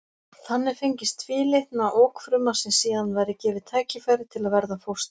Þannig fengist tvílitna okfruma sem síðan væri gefið tækifæri til að verða að fóstri.